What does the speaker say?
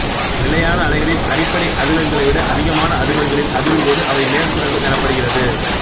நிலையான அலைகளில் அடிப்படை அதிர்வெண்களைவிட அதிகமான அதிர்வெண்களில் அதிரும்போது அவை மேற்சுரங்கள் எனப்படுகிறது